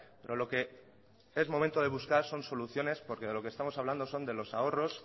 pero lo que es momento de buscar son soluciones porque de lo que estamos hablando son de los ahorros